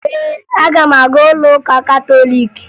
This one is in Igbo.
Ee, aga m aga ụlọụka katọliiki